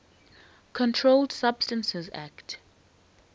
controlled substances acte